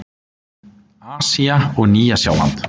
Asía og Nýja-Sjáland